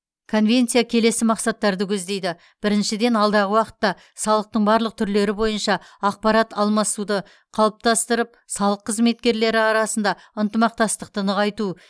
конвенция келесі мақсаттарды көздейді біріншіден алдағы уақытта салықтың барлық түрлері бойынша ақпарат алмасуды қалыптастырып салық қызметтері арасындағы ынтымақтастықты нығайту